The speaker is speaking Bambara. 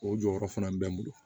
O jɔyɔrɔ fana bɛ n bolo